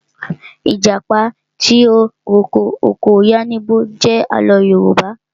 Ìjàpá tìrókó ọkọ yánníbo jẹ àlọ́ Yorùbá